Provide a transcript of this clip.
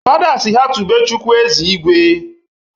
Fada sị ha tibe chukwu "Eze Igwe"